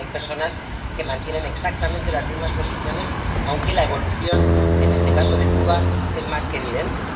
Hay personas que mantienen exactamente las mismas posiciones, aunque la evolución, en este caso de Cuba, es más que evidente.